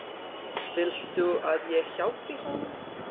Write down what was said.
Viltu að ég hjálpi honum?